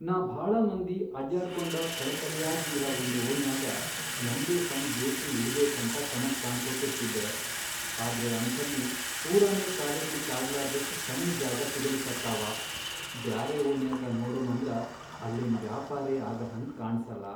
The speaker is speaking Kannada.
ನಾ ಭಾಳ ಮಂದಿ ಅಡ್ಯಾಡ್ಕೋಂಡ ಕಳೆಕಳೆಯಾಗ್ ಇರ ವಂದ್ ಓಣ್ಯಾಗ ನಂದೇ ಸಣ್ ಬೇಕ್ರಿ ಇಡ್ಬೇಕಂತ ಕನಸ್ ಕಾಣ್ಕೋತಿರ್ತಿದ್ದೆ, ಆದ್ರೆ ಅಂಥಲ್ಲಿ ಪೂರಾನೇ ಕಾಲಿಡ್ಲಿಕ್ ಆಗ್ಲಾರ್ದಷ್ಟ್ ಸಣ್ ಜಾಗಾ ಸಿಗಲಿಕತ್ತಾವ, ಬ್ಯಾರೆ ಓಣ್ಯಾಗ ನೋಡಮಂದ್ರ ಅಲ್ಲೇನ್ ವ್ಯಾಪಾರೇ ಆಗಹಂಗ್ ಕಾಣಸಲ್ಲಾ.